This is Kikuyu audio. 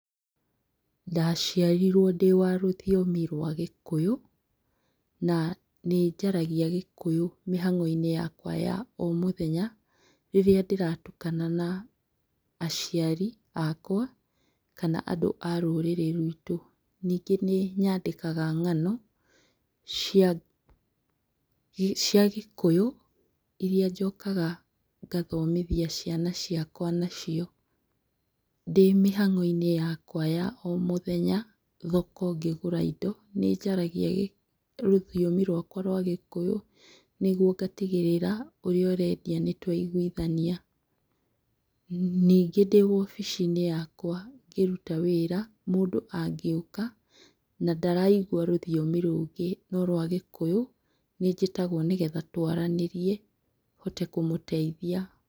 Ndaciarirwo ndĩ wa rũthiomi rwa gĩkũyũ na nĩnjaragia gĩkũyũ mĩhang'oinĩ yakwa ya o mũthenya rĩrĩa ndĩratukana na aciari akwa kana andũ a rũrĩrĩ ruitũ. Nyingĩ nĩnyandĩkaga ng'ano cia, cia gĩkũyũniria njokaga ngathomithia ciana ciakwa nacio. Ndĩmĩhang'o-inĩ yakwa ya o mũthenya thoko ngĩgũra indo nĩnjaragia rũthiomi rũakwa rwagĩkũyũ nĩgwo ngatigĩrĩra ũrĩa ũrendia nĩtwaiguithania. Nyingĩ ndĩwobici-inĩ yakwa ngĩruta wĩra, mũndũ angĩũka na ndaraigua rũthiomi ũngĩ no rwa gĩkũyũ, nĩnjĩtagwo nĩgetha twaranĩrie hote kũmũteithia.